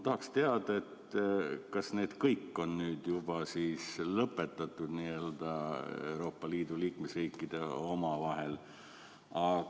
Tahaks teada, kas need kõik on juba Euroopa Liidu liikmesriikidel omavahel lõpetatud.